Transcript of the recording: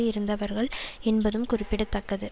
இருந்தவர்கள் என்பதும் குறிப்பிட தக்கது